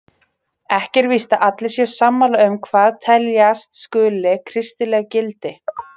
Ekki er víst að allir séu sammála um hvað teljast skuli kristileg gildi.